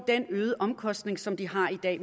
den øgede omkostning som de har i dag